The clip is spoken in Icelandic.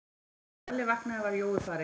Þegar Lalli vaknaði var Jói farinn.